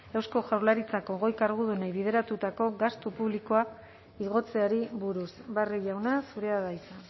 eusko jaurlaritzako goi kargudunei bideratutako gastu publikoa igotzeari buruz barrio jauna zurea da hitza